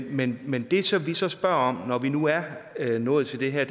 men men det som vi så spørger om når vi nu er nået til det her